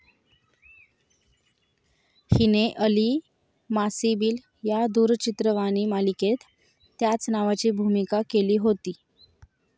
हिने अली मासिबील या दूरचित्रवाणी मालिकेत त्याच नावाची भूमिका केली होती.